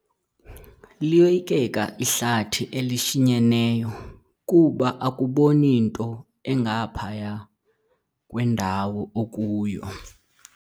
Liyoyikeka ihlathi elishinyeneyo kuba akuboni nto engaphaya kwendawo okuyo.